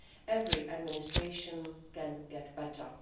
Every administration can get better.